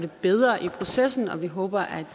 bedre i processen og vi håber at